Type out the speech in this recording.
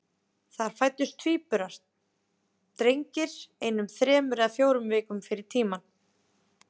Þar fæddust tvíburar, drengir, einum þremur eða fjórum vikum fyrir tímann.